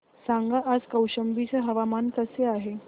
सांगा आज कौशंबी चे हवामान कसे आहे